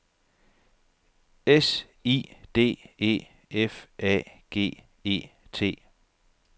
S I D E F A G E T